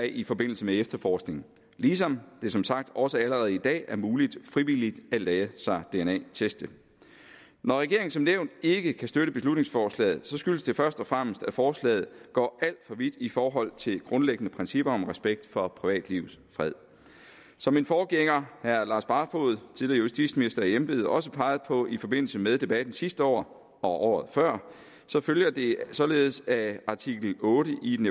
i forbindelse med efterforskningen ligesom det som sagt også allerede i dag er muligt frivilligt at lade sig dna teste når regeringen som nævnt ikke kan støtte beslutningsforslaget skyldes det først og fremmest at forslaget går alt for vidt i forhold til grundlæggende principper om respekt for privatlivets fred som min forgænger herre lars barfoed tidligere justitsminister i embedet også pegede på i forbindelse med debatten sidste år og året før så følger det således af artikel otte i den